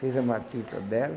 Fez a matrícula dela.